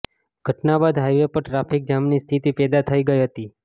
ઘટના બાદ હાઈવે પર ટ્રાફિક જામની સ્થિતી પેદા થઈ ગઈ હતી